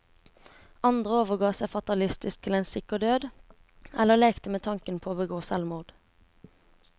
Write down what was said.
Andre overga seg fatalistisk til en sikker død, eller lekte med tanken på å begå selvmord.